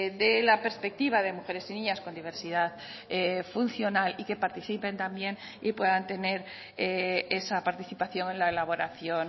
de la perspectiva de mujeres y niñas con diversidad funcional y que participen también y puedan tener esa participación en la elaboración